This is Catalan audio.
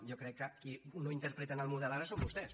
jo crec que qui no interpreten el model ara són vostès